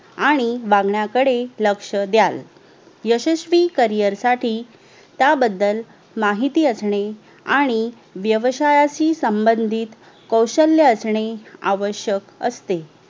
आणि वागण्याकडे लक्ष्य द्यावे यशस्वी CAREER साठी याबद्दल माहितीअसणे आणि वेवसायाशी सांभाधित कौशल्य असणे आवश्यक असते